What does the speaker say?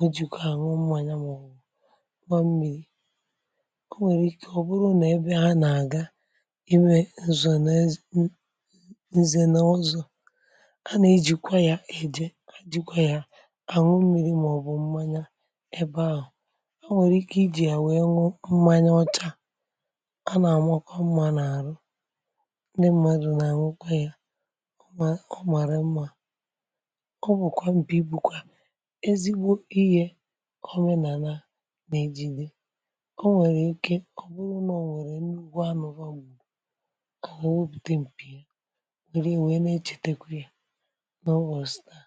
ọjị nkwa mmanyà maọbụ mmịrị. o nwèrè ike ọ̀ bụrụ n’ebe ha nà-àga ime nzọ n’ez nzọ̀ n’ọzọ̇, a nà-ejìkwa yȧ ejìe jìkwa yȧ ànwụ mmiri màọ̀bụ̀ mmanya ebe ahụ̀, o nwèrè ike ijì à wèe ñụ mmanya ọcha a nà-àmọ kọọ mmȧ n’àrụ, ndi mmadụ̀ nà ànwụ kwa yȧ ọ màrị mmȧ. ọ bụ̀ kọọ m̀bi bù kọ̀a ezigbo iyė o nwèrè ike ọ̀ bụrụ nà o nwèrè n’ugbȯ anụ̇gbȯ ugbȯ onwe bute m̀pì ihe nwère wee nà-echètekwa yȧ n’obòsteṙ.